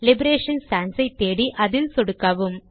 liberation Sans ஐ தேடி அதில் சொடுக்கவும்